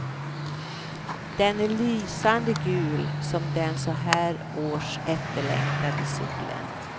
Den är lysande gul som den så här års efterlängtade solen.